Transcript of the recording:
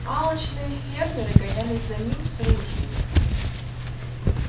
алчные фермеры гонялись за ним с ружьями